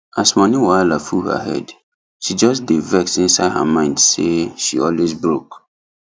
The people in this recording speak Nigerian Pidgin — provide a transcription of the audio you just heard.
as money wahala full her head she just dey vex inside her mind say she always broke